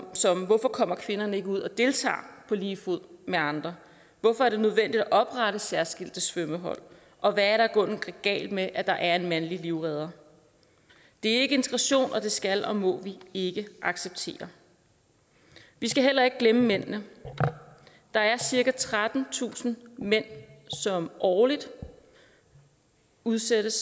som hvorfor kommer kvinderne ikke ud og deltager på lige fod med andre hvorfor er det nødvendigt at oprette særskilte svømmehold og hvad er der i grunden galt med at der er en mandlig livredder det er ikke integration og det skal og må vi ikke acceptere vi skal heller ikke glemme mændene der er cirka trettentusind mænd som årligt udsættes